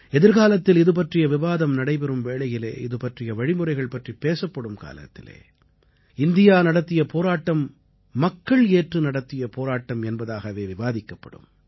எதிர்காலத்தில் இதுபற்றிய விவாதம் நடைபெறும் வேளையிலே இதுபற்றிய வழிமுறைகள் பற்றிப் பேசப்படும் காலத்திலே இந்தியா நடத்திய போராட்டம் மக்கள் ஏற்று நடத்திய போராட்டம் என்பதாகவே விவாதிக்கப்படும்